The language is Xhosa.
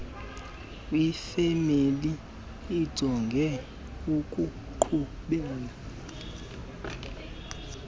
kwifemeli ojonge ukuqhubela